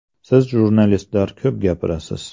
Siz (jurnalistlar) ko‘p gapirasiz.